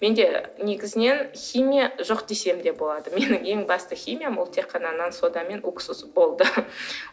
менде негізінен химия жоқ десем де болады менің ең басты химиям ол тек қана нан сода мен уксус болды